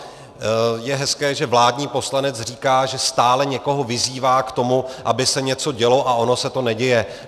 Je hezké, že vládní poslanec říká, že stále někoho vyzývá k tomu, aby se něco dělo, a ono se to neděje.